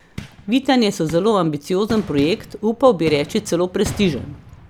Vitanje so zelo ambiciozen projekt, upal bi reči celo prestižen.